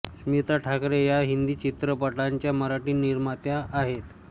स्मिता ठाकरे या हिंदी चित्रपटांच्या मराठी निर्मात्या आहेत